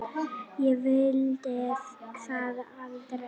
Ég vildi það aldrei.